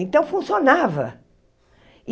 Então, funcionava.